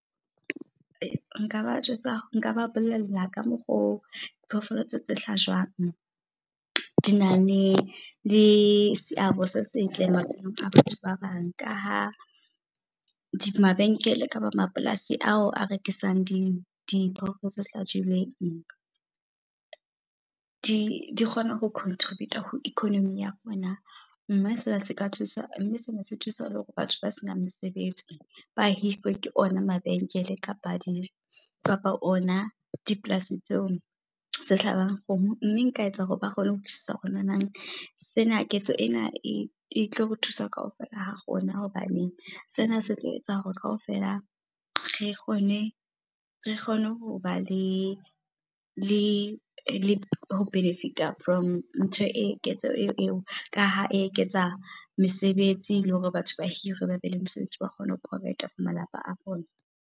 Nka ba jwetsa, nka ba bolella ka mokgo diphoofolo tse hlajwang di na le seabo se setle maphelong a batho ba bang. Ka ha mabenkele, kapa mapolasi ao a rekisang diphoofolo tse hlajilweng di kgona ho contribute-a ho economy ya rona. Mme sena se ka thusa, mme sena se thusa le hore batho ba senang mesebetsi ba hirwe ke ona mabenkele kapa kapa ona dipolasi tseo tse hlabang. Mme nka etsa hore ba kgone ho utlwisisa hore nanang sena, ketso ena e tlo re thusa kaofela ha rona hobaneng, sena se tlo etsa hore kaofela re kgone ho ba le ho benefit-a from ntho eo, ketso eo. Ka ha e eketsa mesebetsi le hore batho ba hirwe, ba be le mosebetsi wa o kgona ho provide-a malapa a bona.